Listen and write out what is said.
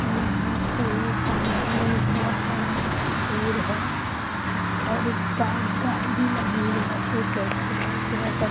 और यहाँ पे सामने में एक बहोत बड़ा पेड़ है और एक शायद गाड़ी भी लगी हुई है थोड़ा-सा --